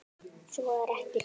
Svo er ekki nú.